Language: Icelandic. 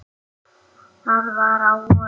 Það var á vorin.